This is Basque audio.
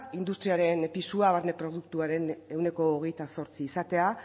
industriaren pisua barne produktuaren ehuneko hogeita zortzi izatea